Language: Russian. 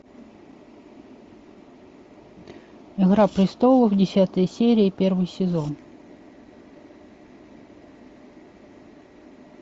игра престолов десятая серия первый сезон